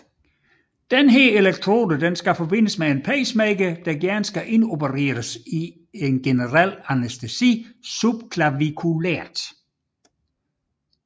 Denne elektrode forbindes med en pacemaker der gerne indopereres i generel anæstesi subclaviculært